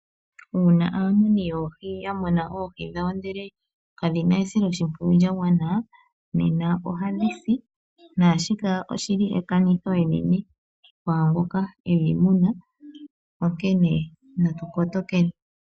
Uuna aamuni yoohi yamuna oohi dhawo ndele kadhina esiloshimpwiyu lya gwana nena ohadhi si. Naashika oshili ekanitho enene kwaangu edhi muna onkene natu kotokeni.